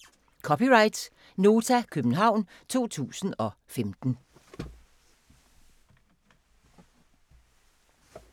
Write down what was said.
(c) Nota, København 2015